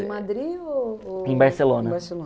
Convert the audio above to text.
Em Madrid ou ou... Em Barcelona.